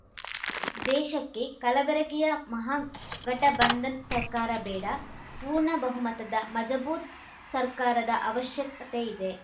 ದೇಶಕ್ಕೆ ಕಲಬೆರಕೆಯ ಮಹಾಗಠಬಂಧನ್‌ ಸರ್ಕಾರ ಬೇಡ ಪೂರ್ಣ ಬಹುಮತದ ಮಜಬೂತ್‌ ಸರ್ಕಾರದ ಅವಶ್ಯಕತೆ ಇದೆ